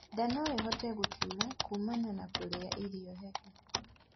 Nda noĩhote gutura kumana na kurĩa irio hehu